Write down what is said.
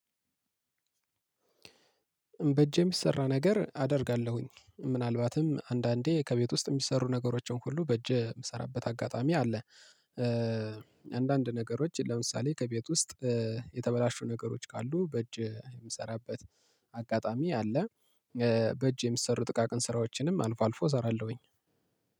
በእጅ የሚሰራ ነገር አደርጋለሁኝ ምናልባትም አንዳንዴ ከቤት ውስጥ የሚሰሩ ነገሮችን ሁሉ በእጅ የምሰራበት አጋጣሚ አለ። አንዳንድ ነገሮች ለምሳሌ ከቤት ውስጥ እ የተበላሹ ነገሮች ካሉ በእጅ የምሰራበት አጋጣሚ አለ። በእጅ የሚሰሩ ጥቃቅን ስራዎችንም አልፎ አልፎ እሰራለሁኝ።